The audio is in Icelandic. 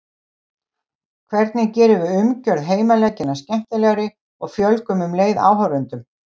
Hvernig gerum við umgjörð heimaleikjanna skemmtilegri og fjölgum um leið áhorfendum?